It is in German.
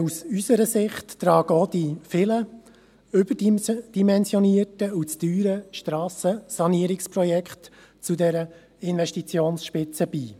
Aus unserer Sicht tragen auch die vielen überdimensionierten und zu teuren Strassensanierungsprojekte zu dieser Investitionsspitze bei.